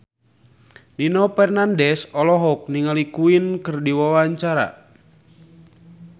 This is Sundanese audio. Nino Fernandez olohok ningali Queen keur diwawancara